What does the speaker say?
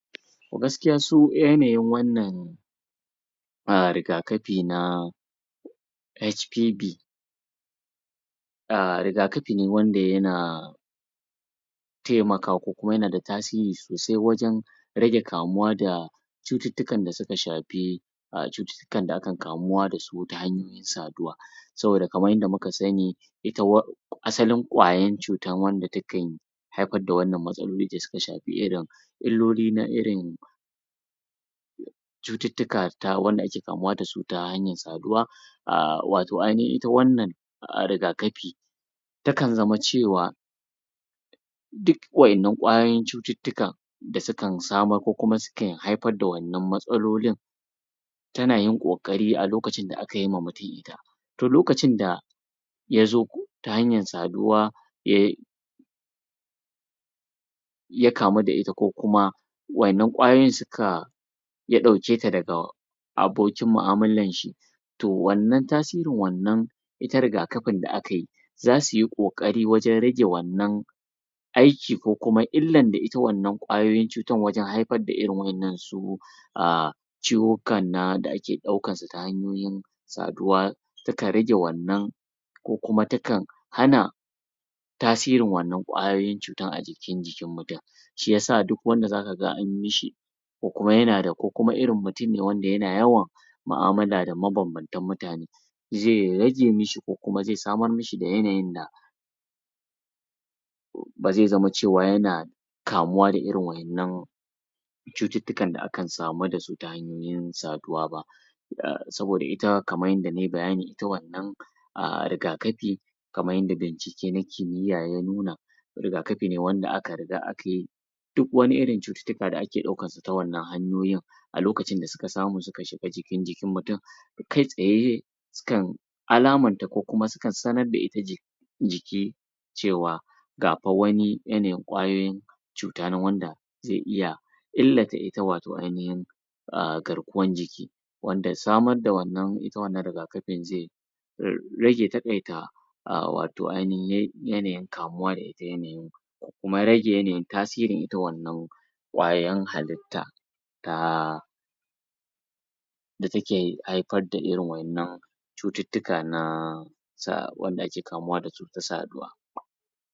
Gaskiya su yanayin wannan a rigakafi na H.K.B rigakafi ne wanda yana taimaka ko kuma yanda tasiri sosai wajen rage kamuwa da cututtukan da suka shafi a cuttuttukan akan kamuwa da su ta hayar saduwa saboda kamar yadda muka sani ita wa asalin kwayar cutar wanda takan haifar da wannan matsaloli da suka shafi irin illoli na irin cututtuka ta wanda ake kamuwa da su ta hanyar saduwa a wato ainahin ita wannan rigakafi takan zama cewa duk wa'yennan kwayoyin cututtukan da suka samar ko kuma suke haifar da wannan matsalolin tana yin ƙoƙari a lokacin da aka yi ma mutum ita to lokacin da ya zo ta hanyar saduwa yai ya kamu da ita ko kuma wa'yennan kwayoyin suka ya ɗauke ta daga abokin mu'amularshi to wannan tasirin wannan ita rigakafin da akai za su yi ƙoƙari wajen rage wannan aiki ko kuma illan da ita wannan kwayoyin cutar wajen haifar da wannan su a ciwuka na da ake ɗaukarsu ta hanyoyin saduwa takan rage wannan ko kuma takan hana tasirin wannan kwayoyin cutar a jikin jikin mutum shi ya sa duk wannann zaka ga an yi shi ko kuma yana da ko kuma irin mutum ne wanda yana yawan da mabanbantan mutane zai rage mishi ko kuma zai samar mishi da yanayin da ba zai zama cewa yana kamuwa da irin wa'yannan cututtukan da akan samu da su ta hanyoyin saduwa ba saboda ita kamar yadda nai bayani ita wannan a rigakafi kamar yadda bincike na kimiyya na nuna rigakafi ne wanda aka riga aka yi duk wani irin cututtuka ake ɗaukarsu ta wannan hanyoyin a lokacin da suka samu suka shiga cikin jikin mutum kai tsaye sukan alamanta ko kuma sukan sanar da ita jik jiki cewa ga fa wani yanayin kwayoyin cuta nan wanda zai iya illata ita wayo ainahin a garkuwar jiki wanda samar da wannan ita wannan rigakafi zai rage taƙaita a wato ainahin yanayin kamuwa ita yanayin da kuma rage yanayin tasirin ita wannan kwayar hallit ta ta da take haifar da irin wannan cututtuka na sa wanda ake kamuwa da su ta saduwa